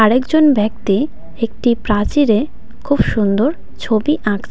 আরেকজন ব্যক্তি একটি প্রাচীরে খুব সুন্দর ছবি আঁকছে.